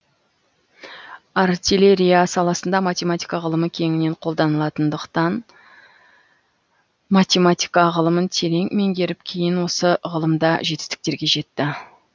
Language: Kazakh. артиллерия саласында математика ғылымы кеңінен қолданылатындықтан математика ғылымын терең меңгеріп кейін осы ғылымда жетістіктерге жетті